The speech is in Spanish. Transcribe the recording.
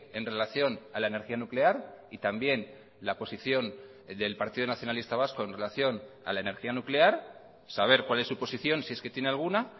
en relación a la energía nuclear y también la posición del partido nacionalista vasco en relación a la energía nuclear saber cuál es su posición si es que tiene alguna